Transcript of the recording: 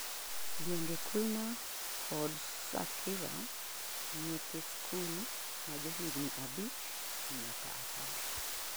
gwenge khulna kod satkhira; nyithi sikul majohigni abich nyaka apar;